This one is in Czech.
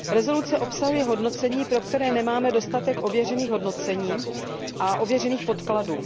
Usnesení obsahuje hodnocení, pro které nemáme dostatek ověřených hodnocení a ověřených podkladů.